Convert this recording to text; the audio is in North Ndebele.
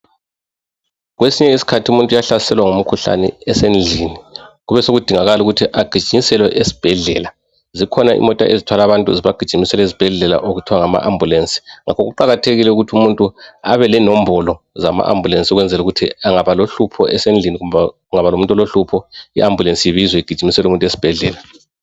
Kwesinye isikhathi umuntu uyahlaselwa ngumkhuhlane esendlini, kube sekudingakala ukuthi agijinyiselwe esibhedlela. Zikhona imota ezithwala abantu zibagijimisela ezibhedlela okuthiwa ngama ambulensi. Ngakho kuqakathekile ukuthi umuntu abe lembolo zama ambulensi ukwenzela ukuthi engaba lohlupho esendlini kumbe kungaba lomuntu olohlupho i ambulensi ibizwe igijimisele umuntu esibhedlela.